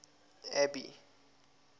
abby